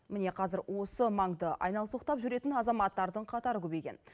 міне қазір осы маңды айнал соқтап жүретін азаматтардың қатары көбейген